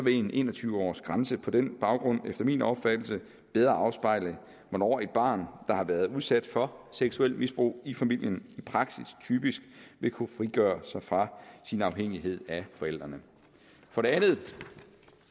en en og tyve årsgrænse på den baggrund efter min opfattelse bedre afspejle hvornår et barn der har været udsat for seksuelt misbrug i familien i praksis typisk vil kunne frigøre sig fra sin afhængighed af forældrene for det andet